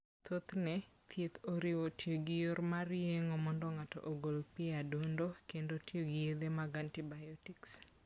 Thothne, thieth oriwo tiyo gi yor mag yeng'o mondo ng'ato ogol pi e adundo, kendo tiyo gi yedhe mag antibiotic.